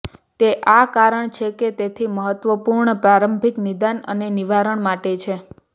તે આ કારણ છે કે જેથી મહત્વપૂર્ણ પ્રારંભિક નિદાન અને નિવારણ માટે છે